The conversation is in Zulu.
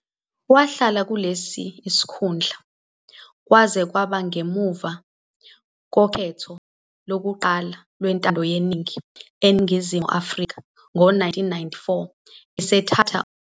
Wahlala kulesi sikhundla kwaze kwaba ngemva kokhetho lokuqala lwentando yeningi eNingizimu Afrika ngo-1994 esethatha umhlalaphansi.